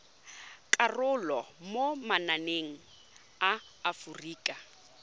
karolo mo mananeng a aforika